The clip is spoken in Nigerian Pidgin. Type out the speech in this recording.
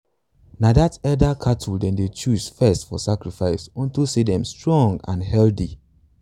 na that elder cattle them dey choose first for sacrifice onto say them dey strong and healthy.